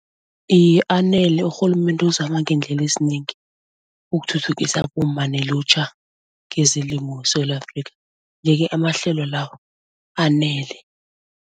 Iye anele urhulumende uzama ngeendlela ezinengi ukuthuthukisa abomma nelutjha kezelimo weSewula Afrika yeke amahlelo lawo anele.